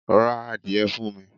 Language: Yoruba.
Ra adìye fun mi